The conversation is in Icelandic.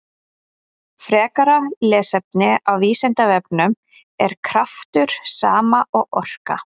Frekara lesefni á Vísindavefnum: Er kraftur sama og orka?